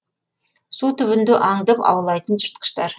су түбінде аңдып аулайтын жыртқыштар